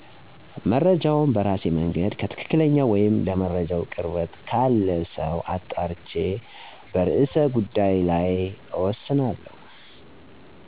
መረጃውን በራሴ መንገድ ከትክክለኝው ወይም ለመረጃው ቅርበት ካለ ሰው አጣርቼ በርዕሰ ጉዳይ ላይ እወስናለሁ።